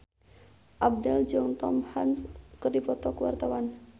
Abdel jeung Tom Hanks keur dipoto ku wartawan